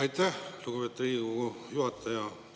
Aitäh, lugupeetud Riigikogu juhataja!